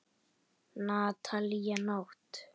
Natalía Nótt.